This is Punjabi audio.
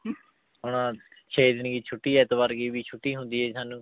ਹੁਣ ਛੇ ਦਿਨ ਕੀ ਛੁਟੀ ਐਤਵਾਰ ਕੀ ਵੀ ਛੁੱਟੀ ਹੁੰਦੀ ਹੈ ਜੀ ਸਾਨੂੰ।